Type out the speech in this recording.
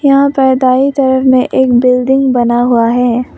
यहां पर दाएं तरफ में एक बिल्डिंग बना हुआ है।